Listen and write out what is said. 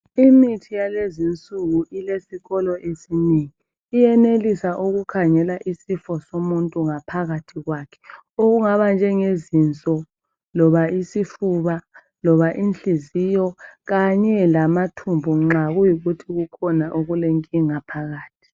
Imithi yalezi insuku ilesikolo esinengi, iyenelisa ukukhangela isifo somuntu ngaphakathi kwakhe okungaba njenge zinso loba isifuba loba inhliziyo kanye lamathumbu nxa kuyikuthi kukhona okulenkinga phakathi.